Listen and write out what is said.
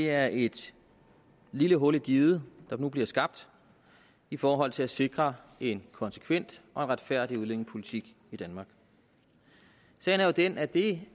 er et lille hul i diget der bliver skabt i forhold til at sikre en konsekvent og en retfærdig udlændingepolitik i danmark sagen er jo den at det